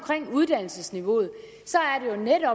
uddannelsesniveauet